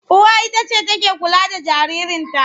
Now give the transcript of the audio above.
Uwa ita ce take kula da jaririnta.